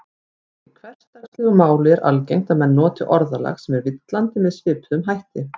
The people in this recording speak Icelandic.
Í hversdagslegu máli er algengt að menn noti orðalag sem er villandi með svipuðum hætti.